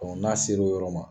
n'a ser'o yɔrɔ ma